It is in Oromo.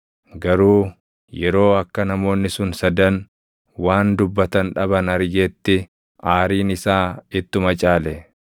Garuu yeroo akka namoonni sun sadan waan dubbatan dhaban argetti aariin isaa ittuma caale.